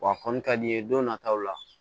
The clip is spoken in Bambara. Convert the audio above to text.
Wa a kɔni ka di i ye don nataw la